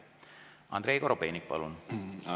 Andrei Korobeinik, palun!